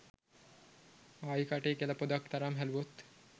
ආයි කටේ කෙළ පොදක් තරම් හැලුවොත්